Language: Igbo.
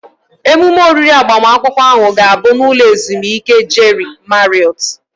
Emume oriri agbamakwụkwọ ahụ ga-abụ n'ụlọ ezumike Jeri Mariọt